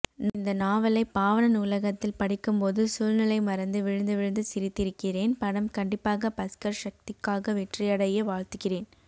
நான் இந்தநாவலை பாவணர் நூலகத்தில் படிக்கும்போது சூழ்நிலை மறந்து விழுந்து விழுந்து சிரித்திருக்கிறேன் படம் கண்டிப்பாக பஸ்கர்சக்திக்காக வெற்றியடைய வாழ்த்துகிறேன்